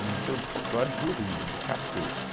O Museu do Folclore do Rio, do Catete.